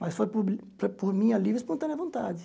Mas foi por foi por minha livre e espontânea vontade.